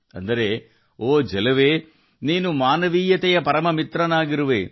ಅರ್ಥ ಓ ನೀರು ನೀನು ಮಾನವೀಯತೆಯ ಅತ್ಯುತ್ತಮ ಸ್ನೇಹಿತ